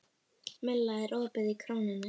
Milla, er opið í Krónunni?